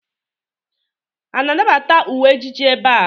A na-anabata uwe ejiji ebe a?